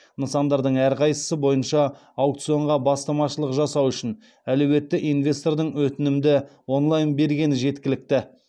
нысандардың әрқайсысы бойынша аукционға бастамашылық жасау үшін әлеуетті инвестордың өтінімді онлайн бергені жеткілікті